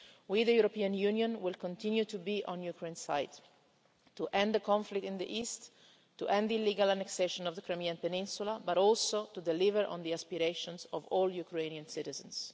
We, the European Union, will continue to be on Ukraine's side, to end the conflict in the east, to end the illegal annexation of the Crimean Peninsula and also to deliver on the aspirations of all Ukrainian citizens.